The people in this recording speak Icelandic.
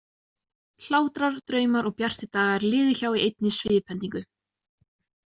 Hlátrar, draumar og bjartir dagar liðu hjá í einni sviphendingu.